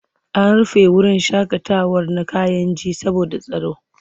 An rufe wurin shaƙatawa na Kayenji saboda tsaro.